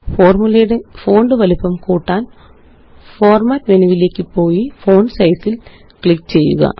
ഫോര്മുലയുടെ font വലിപ്പം കൂട്ടാന്Format മെനുവിലേയ്ക്ക് പോയി ഫോണ്ട് സൈസ് ല് ക്ലിക്ക് ചെയ്യുക